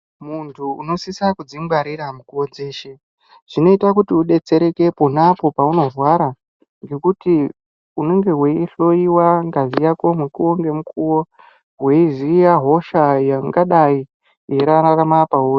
Muntu unosisa kudzingwarira mukuwo dzeshe zvinoita kuti udetsereke ponapo peunorwara ngekuti unenge weihloiwa ngazi yako mukuwo ngemukuwo weiziya hosha ingadai yeirarama pauri.